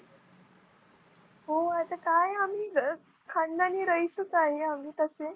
हो आता काय आम्ही खानदानी रईसच आहे आम्ही तसे.